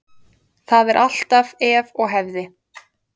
Það er alltaf ef og hefði.